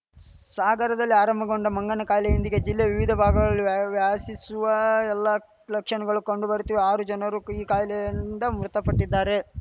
ಸಾಗರದಲ್ಲಿ ಆರಂಭಗೊಂಡ ಮಂಗನ ಕಾಯಿಲೆ ಇಂದಿಗೆ ಜಿಲ್ಲೆಯ ವಿವಿಧ ಭಾಗಗಳಿಗೆ ವ್ಯಾ ವ್ಯಾಸಿಸುವ ಎಲ್ಲಾ ಲಕ್ಷಣಗಳು ಕಂಡು ಬರುತ್ತಿವೆ ಆರು ಜನರು ಈ ಕಾಯಿಲೆಯಿಂದ ಮೃತಪಟ್ಟಿದ್ದಾರೆ